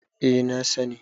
eh na sani